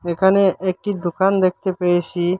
এখানে একটি দোকান দেখতে পেয়েসি।